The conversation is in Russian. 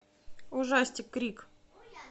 ужастик крик